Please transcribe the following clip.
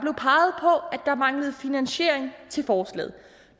der manglede finansiering til forslaget